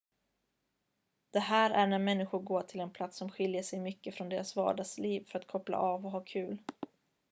det här är när människor går till en plats som skiljer sig mycket från deras vardagsliv för att koppla av och ha kul